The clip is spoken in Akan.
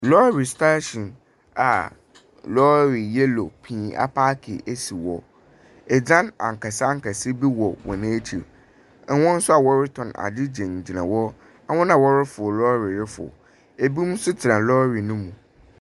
Lɔre stahyin a lɔre yɛlo pii apaaki esi hɔ. Ɛdzan akɛse akɛse bi wɔ wɔn akyi. Wɔn nso a wɔre tɔn ade gyina gyina hɔ. Wɔn a wɔrefro lɔre ɛforo. Ebinom nso tena lɔre no mu.